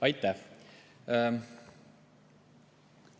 Aitäh!